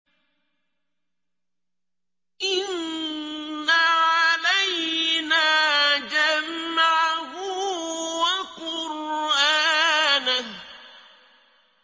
إِنَّ عَلَيْنَا جَمْعَهُ وَقُرْآنَهُ